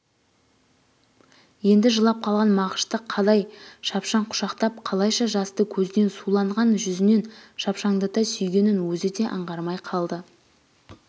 енді жылап қалған мағышты қадай шапшаң құшақтап қалайша жасты көзінен суланған жүзінен шапшандата сүйгенін өзі де аңғармай қалды